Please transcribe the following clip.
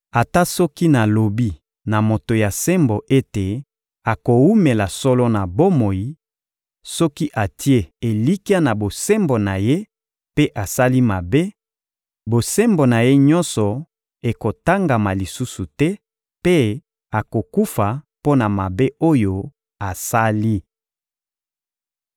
Ata soki nalobi na moto ya sembo ete akowumela solo na bomoi, soki atie elikya na bosembo na ye mpe asali mabe, bosembo na ye nyonso ekotangama lisusu te mpe akokufa mpo na mabe oyo asali.